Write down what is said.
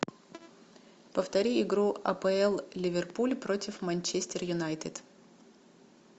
повтори игру апл ливерпуль против манчестер юнайтед